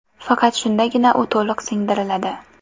Faqat shundagina u to‘liq singdiriladi.